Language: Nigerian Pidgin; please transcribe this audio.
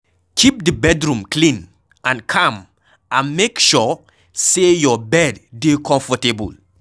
Keep di bedroom clean and calm and make sure sey your bed dey comfortable